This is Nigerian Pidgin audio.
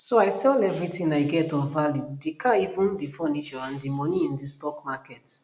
so i sell everything i get of value di car even di furniture and put di money in di stock market